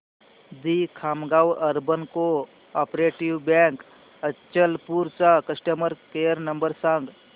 दि Khamgaon urban cooperative bank Achalpur चा customer care number सांग